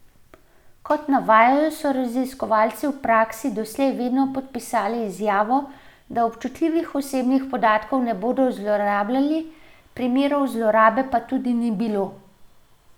Kot navajajo, so raziskovalci v praksi doslej vedno podpisali izjavo, da občutljivih osebnih podatkov ne bodo zlorabljali, primerov zlorabe pa tudi ni bilo.